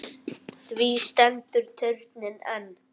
Því stendur turninn enn.